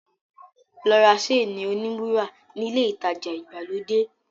Lọ ra séènì-oníwúrà nílé ìtajà ìgbàlódé.